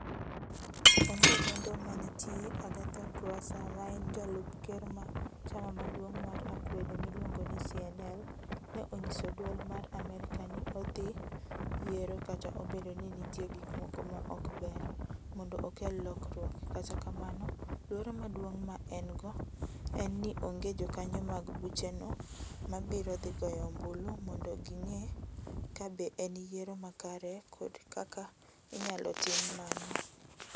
Onge lendo manitie Agathon Rwasa ma en jalup ker mar chama maduong' mar akwede miluongo ni CNL, ne onyiso dwol mar Amerka ni odhi e yiero kata obedo ni nitie gik moko ma ok ber, mondo okel lokruok, kata kamano luoro maduong' ma en - go en ni onge jokanyo mag bucheno ma biro dhi goyo ombulu mondo ging'e ka be en yiero makare kod kaka inyalo tim mano.